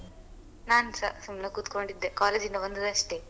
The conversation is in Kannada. ನಾನ್ಸ ಸುಮ್ನೆ ಕೂತ್ಕೊಂಡಿದ್ದೆ college ಇಂದ ಬಂದದಷ್ಟೆ.